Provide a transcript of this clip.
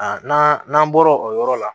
Aa n'an n'an bɔra o yɔrɔ la